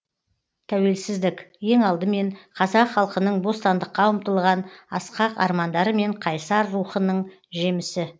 тәуелсіздік ең алдымен қазақ халқының бостандыққа ұмтылған асқақ армандары мен қайсар рухынның жемісі